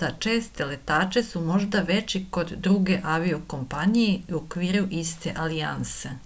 za česte letače su možda veći kod druge avio-kompanije u okviru iste alijanse